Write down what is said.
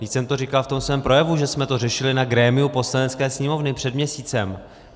Vždyť jsem to říkal v tom svém projevu, že jsme to řešili na grémiu Poslanecké sněmovny před měsícem.